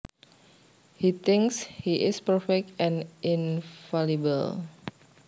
He thinks he is perfect and infallible